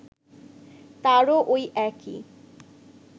তারাও ওই একই